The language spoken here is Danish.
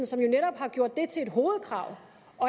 som jo netop har gjort det til et hovedkrav